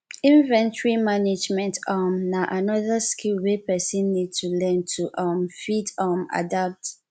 inventory management um na anoda skill wey person need to learn to um fit um adapt